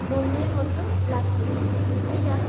মন্দির এর মতো লাগছে যেটা--